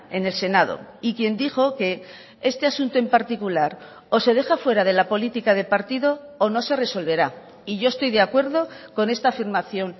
en el senado y quien dijo que este asunto en particular o se deja fuera de la política de partido o no se resolverá y yo estoy de acuerdo con esta afirmación